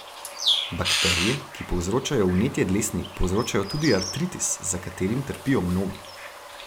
Bakterije, ki povzročajo vnetje dlesni, povzročajo tudi artritis, za katerim trpijo mnogi.